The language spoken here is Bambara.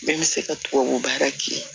Bɛɛ bɛ se ka tubabu baara kɛ